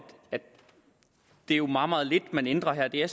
det jo er meget meget lidt man ændrer her det er